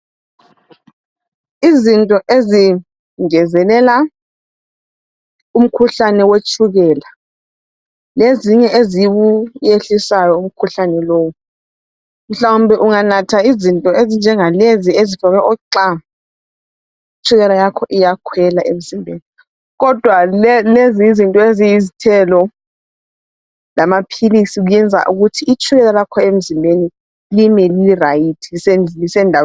Izinto ezingezelela umkhuhlane wetshukela lezinye eziwuyehlisayo umkhuhlane lowu. Mhlawumbe unganatha izinto ezinjengalezi ezifakwe oxa itshukela yakho iyakhwela emzimbeni kodwa lezi izinto eziyizthelo lamaphilisi kuyenza ukuthi itshukela lakho emzimbeni lime lirayithi lisendaweni.